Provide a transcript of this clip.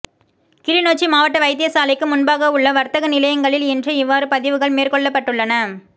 கிளிநொச்சி மாவட்ட வைத்தியசாலைக்கு முன்பாக உள்ள வர்த்தக நிலையங்களில் இன்று இவ்வாறு பதிவுகள் மேற்கொள்ளப்பட்டுள்ளன